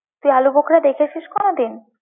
তুই আলু বোখরা দেখেছিস কোনোদিন?